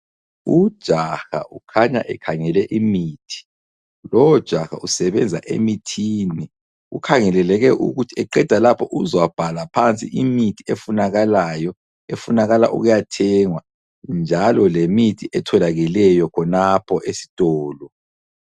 Ujaha ukhanya ekhangele imithi lowo jaha usebenza emithini, kukhangeleleke ukuthi eqeda lapho uzabhala phansi imithi efunakalayo efunakala ukuyathengwa njalo lemithi etholakeleyo khonapho esitolo.